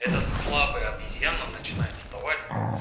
это слабая обезьяна начинает доставать